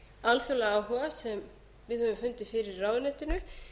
alþjóðlega áhuga sem við höfum fundið fyrir í ráðuneytinu